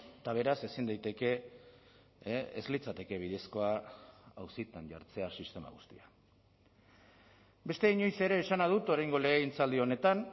eta beraz ezin daiteke ez litzateke bidezkoa auzitan jartzea sistema guztia beste inoiz ere esana dut oraingo legegintzaldi honetan